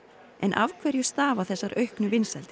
af hverju stafa þessar auknu vinsældir